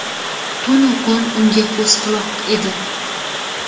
tunu kun unga ko‘z-quloq edi.